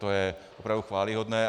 To je opravdu chvályhodné.